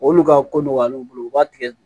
Olu ka ko nɔgɔyalen bolo u b'a tigɛ